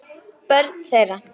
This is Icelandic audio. Börn þeirra